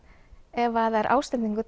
ef það er ásetningur